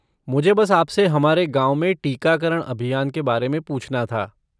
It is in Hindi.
मुझे बस आपसे हमारे गाँव में टीकाकरण अभियान के बारे में पूछना था।